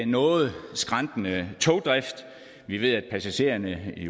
noget skrantende togdrift vi ved at passagererne i